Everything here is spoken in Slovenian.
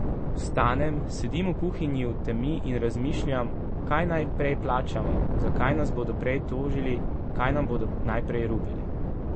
Vstanem, sedim v kuhinji v temi in razmišljam, kaj naj prej plačamo, za kaj nas bodo prej tožili, kaj nam bodo najprej rubili.